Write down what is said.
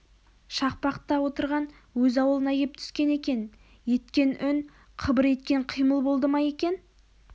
шақпақта отырған өз аулына кеп түскен екен еткен үн қыбыр еткен қимыл болды ма екен